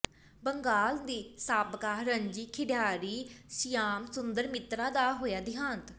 ਬੰਗਾਲ ਦੇ ਸਾਬਕਾ ਰਣਜੀ ਖਿਡਾਰੀ ਸ਼ਿਆਮ ਸੁੰਦਰ ਮਿਤਰਾ ਦਾ ਹੋਇਆ ਦਿਹਾਂਤ